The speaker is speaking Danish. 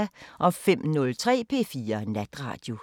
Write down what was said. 05:03: P4 Natradio